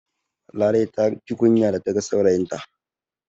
Larai ta ji kunya da ta ga saurayinta